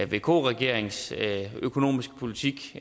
vk regerings økonomiske politik